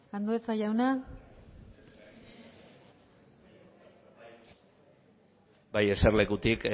andueza jauna bai eserlekutik